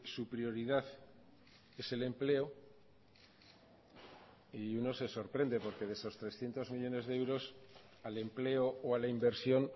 su prioridad es el empleo y uno se sorprende porque de esos trescientos millónes de euros al empleo o a la inversión